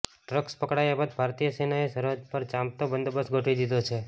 drugs પકડાયા બાદ ભારતીય સેનાએ સરહદ પર ચાંપતો બંદોબસ્ત ગોઠવી દીધો છે